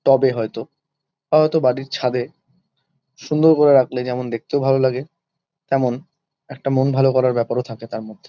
টবে হয়তো বা হয়তো বাড়ির ছাদে সুন্দর করে রাখলে যেমন দেখতেও ভালো লাগে। তেমন একটা মন ভালো করার ব্যাপারও থাকে তার মধ্যে।